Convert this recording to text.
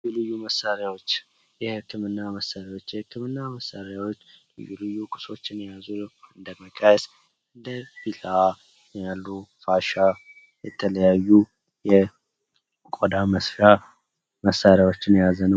ልዩ ልዩ መሳሪያዎች የህክምና መሳሪያዎች፤ የህክምና መሳሪያዎች ልዩ ልዩ መሳሪያዎችን የያዙ እንደ መቀስ እንደ ቢለዋ ያሉ ፋሻ የተለያዩ የቆዳ መስፊያ መሳሪያዎችን የያዘ ነው።